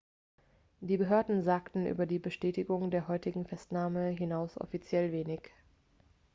die behörden sagten über die bestätigung der heutigen festnahme hinaus offiziell wenig